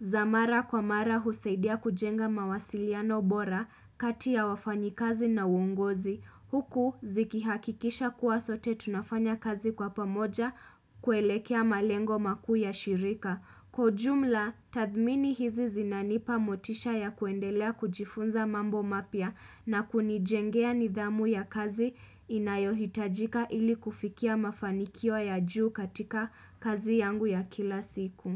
za mara kwa mara husaidia kujenga mawasiliano bora kati ya wafanyikazi na uongozi. Huku zikihakikisha kuwa sote tunafanya kazi kwa pamoja kuelekea malengo makuu ya shirika. Kwa ujumla, tathmini hizi zinanipa motisha ya kuendelea kujifunza mambo mapya na kunijengea nidhamu ya kazi inayohitajika ili kufikia mafanikio ya juu katika kazi yangu ya kila siku.